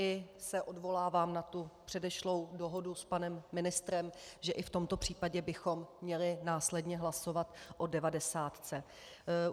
I se odvolávám na tu předešlou dohodu s panem ministrem, že i v tomto případě bychom měli následně hlasovat o devadesátce.